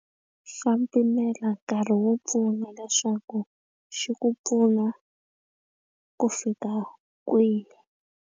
Xa pimela nkarhi wo pfuna leswaku xi ku pfuna ku fika kwihi.